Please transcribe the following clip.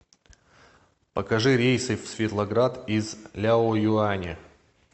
покажи рейсы в светлоград из ляоюаня